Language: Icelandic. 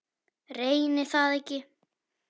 Reyni það ekki.